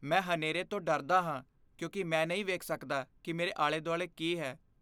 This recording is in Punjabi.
ਮੈਂ ਹਨੇਰੇ ਤੋਂ ਡਰਦਾ ਹਾਂ ਕਿਉਂਕਿ ਮੈਂ ਨਹੀਂ ਵੇਖ ਸਕਦਾ ਕਿ ਮੇਰੇ ਆਲੇ ਦੁਆਲੇ ਕੀ ਹੈ।